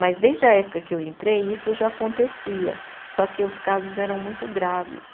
Mas desde a época que eu entrei isso já acontecia, só que os casos eram muito graves.